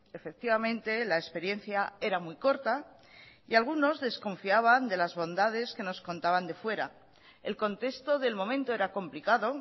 efectivamente la experiencia era muy corta y algunos desconfiaban de las bondades que nos contaban de fuera el contexto del momento era complicado